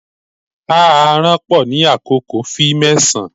A aranpo ni akoko fi mẹsan